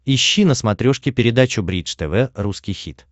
ищи на смотрешке передачу бридж тв русский хит